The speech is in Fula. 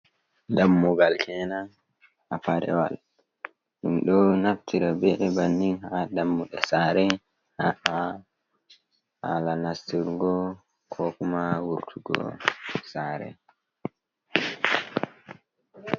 Dammugal kenan afarewal. Ɗum ɗo naftira be bannin ha Dammuɗe Sare ha'a hala Nastirgo ko kuma wurtugo Sare.